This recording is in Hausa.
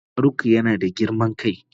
Faruk yana da girman kai.